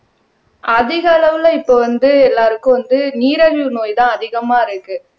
அதிக அளவுல இப்ப வந்து எல்லாருக்கும் வந்து நீரழிவு நோய்தான் அதிகமா இருக்கு